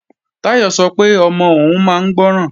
Táyọ̀ sọ pé ọmọ òun máa ń gbọ́ràn